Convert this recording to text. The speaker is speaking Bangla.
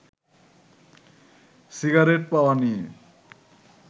সিগারেট পাওয়া নিয়ে